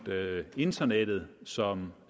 internettet som